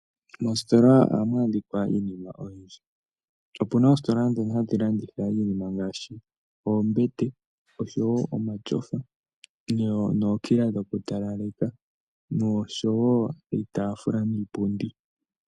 Moositola ohamu adhika iinima oyindji opuna oositola ndhono hadhi landitha iinima ngaashi oombete oshowo omatyofa nookila dhoku talaleka noshowo iitafula niipundi .